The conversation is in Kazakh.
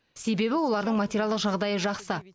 себебі олардың материалдық жағдайы жақсы